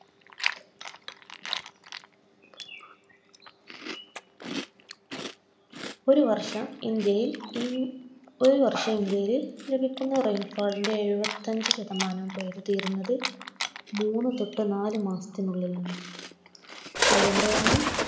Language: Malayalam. ഒരു വർഷം ഇന്ത്യയിൽ ഒരു വർഷം ഇന്ത്യയിൽ ലഭിക്കുന്ന Rainfall എഴുപത്തഞ്ചു ശതമാനം പെയ്തുതീരുന്നത് മൂന്ന് തൊട്ട് നാലു മാസത്തിന്റെ ഇടയിലാണ്. അതുകൊണ്ടുതന്നെ